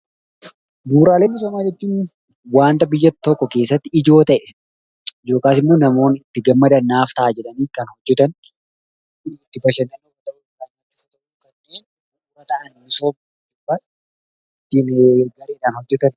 Bu'uuraalee misoomaa jechuun waanta biyyaa tokko keessatti ijoo ta'e yookaas immoo namoonni kan itti gammadaan naaf ta'a jedhaani kan hojeetan.